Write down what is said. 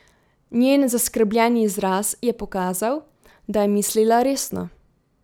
Njen zaskrbljeni izraz je pokazal, da je mislila resno.